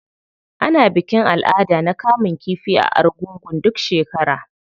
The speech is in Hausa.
Ana bikin al'ada na kamun kifi a argungu duk shekara.